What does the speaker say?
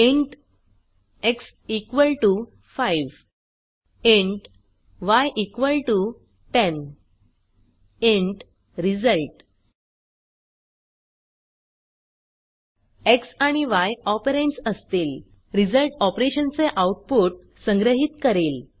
int x 5 int y 10 int result x आणि y operands असतील result operation चे output संग्रहीत करेल